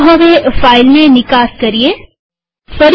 ચાલો હવે ફાઈલને નિકાસએક્સપોર્ટ કરીએ